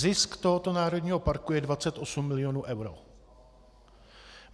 Zisk tohoto národního parku je 28 milionů eur.